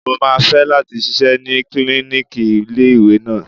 Mo máa fẹ́ láti ṣiṣẹ́ ní klíníkì ilé ìwé náà.